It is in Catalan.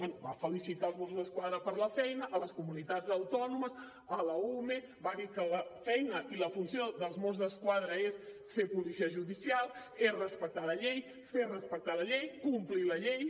bé va felicitar els mossos d’esquadra per la feina les comunitats autònomes l’ume va dir que la feina i la funció dels mossos d’esquadra és ser policia judicial és respectar la llei fer respectar la llei complir la llei